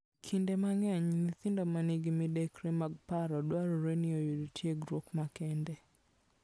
Kinde mang'eny, nyithindo ma nigi midekre mag paro dwarore ni oyud tiegruok makende.